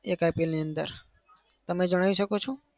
એક IPL ની અંદર. તમે જણાવી શકો છો?